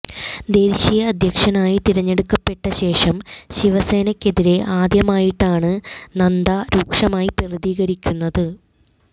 ദേശീയ അധ്യക്ഷനായി തിരഞ്ഞെടുക്കപ്പെട്ട ശേഷം ശിവസേനയ്ക്കെതിരെ ആദ്യമായിട്ടാണ് നദ്ദ രൂക്ഷമായി പ്രതികരിക്കുന്നത്